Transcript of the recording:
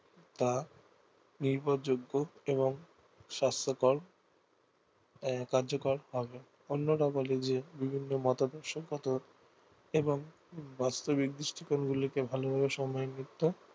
তা নির্ভরযোগ্য এবং স্বাস্থকর কার্যকর হবে বিভিন্ন মতাদর্শ এর মতো এবং ভালোভাবে সন্মানযুক্ত